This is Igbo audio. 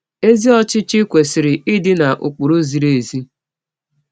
Ezi ọchịchị kwesịrị ịdị na ụkpụrụ ziri ezi.